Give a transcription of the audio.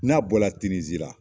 N'a bɔ la Tinizi la.